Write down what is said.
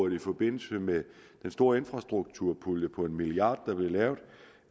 i forbindelse med den store infrastrukturpulje på en milliard